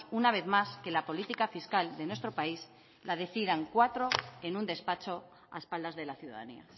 una vez más que la política fiscal de nuestro país la decidan cuatro en un despacho a espaldas de la ciudadanía